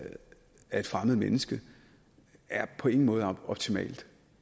af et fremmed menneske er på ingen måde optimalt